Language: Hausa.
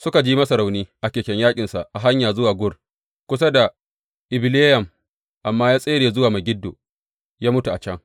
Suka ji masa rauni a keken yaƙinsa a hanya zuwa Gur, kusa da Ibileyam amma ya tsere zuwa Megiddo ya mutu a can.